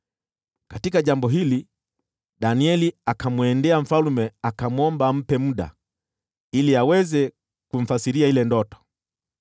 Aliposikia jambo hili, Danieli akamwendea mfalme, akamwomba ampe muda ili aweze kumfasiria ile ndoto.